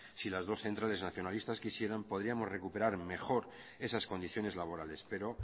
si las dos centrales nacionalistas quisieran podríamos recuperar mejor esas condiciones laborales pero